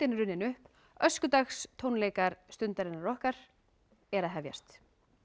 er runnin upp Stundarinnar okkar er að hefjast